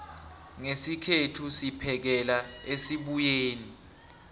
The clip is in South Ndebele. ngesikhethu siphekela esibuyeni